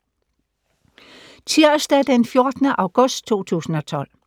Tirsdag d. 14. august 2012